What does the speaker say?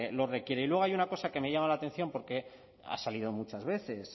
lo requiere y luego hay una cosa que me llama la atención porque ha salido muchas veces